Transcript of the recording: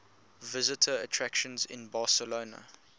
visitor attractions in barcelona